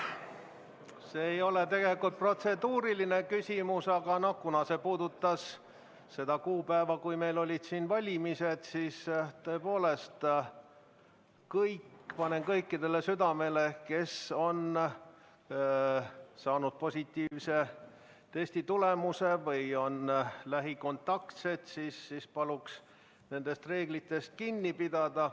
See ei ole tegelikult protseduuriline küsimus, aga kuna see puudutas seda kuupäeva, kui meil olid valimised, siis tõepoolest panen kõikidele südamele: nendel, kes on saanud positiivse testitulemuse või on lähikontaktsed, palun nendest reeglitest kinni pidada.